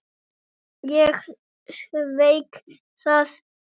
Ég sveik það.